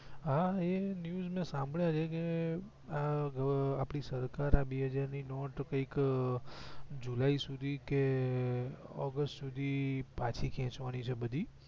હા મે એવા news સાંભળ્યા છે કે આપડી સરકાર આ બે હજાર ની નોટ કંઈક જુલાઈ સુધી કે ઓગસ્ટ સુધી પાછી ખેચવા ની છે બધી